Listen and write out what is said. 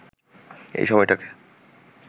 এই সময়টাকে